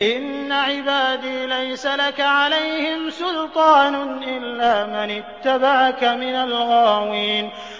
إِنَّ عِبَادِي لَيْسَ لَكَ عَلَيْهِمْ سُلْطَانٌ إِلَّا مَنِ اتَّبَعَكَ مِنَ الْغَاوِينَ